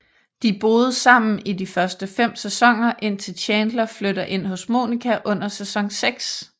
De boede sammen i de første 5 sæsoner indtil Chandler flytter ind hos Monica under sæson 6